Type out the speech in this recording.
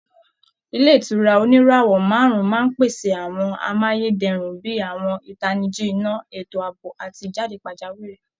Ilé ìtura oníràwọ̀ márùn-ún máa ń pèsè àwọn amáyé dẹrùn bí i àwọn ìtanijí iná, ètò ààbò àti ìjáde pajawiri